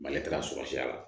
Mali taara sɔya la